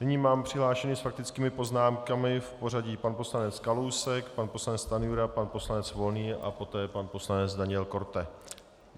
Nyní mám přihlášené s faktickými poznámkami v pořadí pan poslanec Kalousek, pan poslanec Stanjura, pan poslanec Volný a poté pan poslanec Daniel Korte.